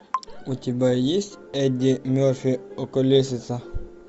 у тебя есть эдди мерфи околесица